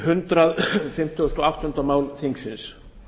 hundrað fimmtugasta og áttunda mál þingsins